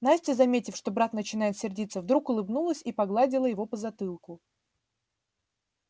настя заметив что брат начинает сердиться вдруг улыбнулась и погладила его по затылку